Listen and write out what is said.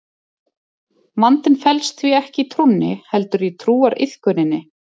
vandinn felst því ekki í trúnni heldur í trúariðkuninni